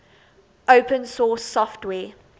open source software